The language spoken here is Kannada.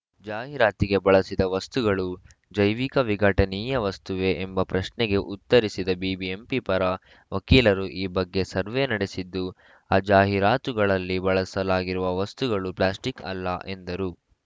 ಜಾಹೀರಾತಿಗೆ ಬಳಸಿದ ವಸ್ತುಗಳು ಜೈವಿಕ ವಿಘಟನೀಯ ವಸ್ತುವೇ ಎಂಬ ಪ್ರಶ್ನೆಗೆ ಉತ್ತರಿಸಿದ ಬಿಬಿಎಂಪಿ ಪರ ವಕೀಲರು ಈ ಬಗ್ಗೆ ಸರ್ವೆ ನಡೆಸಿದ್ದು ಆ ಜಾಹೀರಾತುಗಳಲ್ಲಿ ಬಳಸಲಾಗಿರುವ ವಸ್ತುಗಳು ಪ್ಲಾಸ್ಟಿಕ್‌ ಅಲ್ಲ ಎಂದರು